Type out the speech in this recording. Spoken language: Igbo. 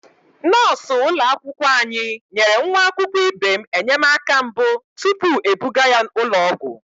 Nọọsụ ụlọakwụkwọ anyị nyere nwa akwụkwọ ibe m enyemaka mbụ tupu ebuga ya ụlọ ọgwụ.